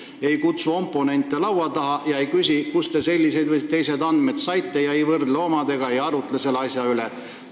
Oponente ei kutsuta laua taha, ei küsita, kust te need või teised andmed olete saanud, ega võrrelda neid enda omadega – ühesõnaga, ei arutleta asja üle.